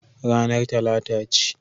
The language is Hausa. Ranar Talata ce.